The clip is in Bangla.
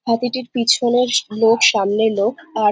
হাতিটির পিছনে লোক সামনে লোক আর --